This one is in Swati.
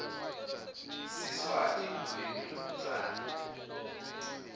siswati lulwimi lwekucala